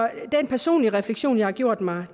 den personlige refleksion jeg har gjort mig